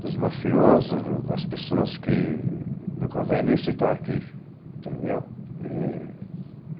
dos mafiosos, das pessoas que não convém nem citar aqui, entendeu?